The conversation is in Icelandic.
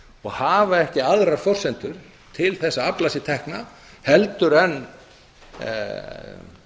og hafa ekki aðrar forsendur til að afla sér tekna en